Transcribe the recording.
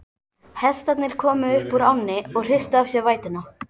Hestarnir komu upp úr ánni og hristu af sér vætuna.